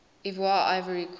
ivoire ivory coast